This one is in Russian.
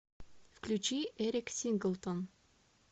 включи эрик синглтон